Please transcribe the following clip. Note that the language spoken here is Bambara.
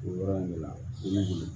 O yɔrɔ in de la